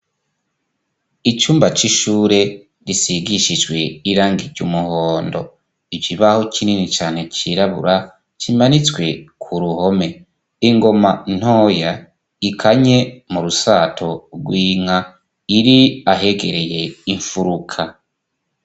Icumba c'ishure risigishijwe irangi ry' umuhondo. Ikibaho kinini cane cirabura kimanitswe ku ruhome. Ingoma ntoya ikanye mu rusato rw'inka iri ahegereye imfuruka.